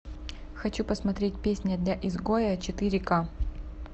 хочу посмотреть песня для изгоя четыре к